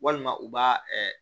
Walima u b'a